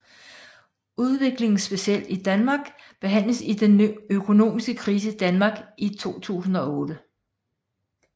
Udviklingen specielt i Danmark behandles i Den økonomiske krise i Danmark i 2008